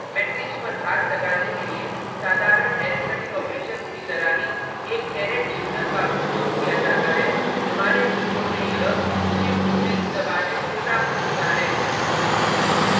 matrix पर घात लगाने के लिए साधारण अरिथ्मैटिक ऑपरेशंस की तरह ही एक कैरेट चिन्ह का उपयोग किया जाता है हमारे कीबोर्ड में यह shift+6 दबाने से प्राप्त होता है